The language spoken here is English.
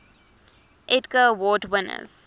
edgar award winners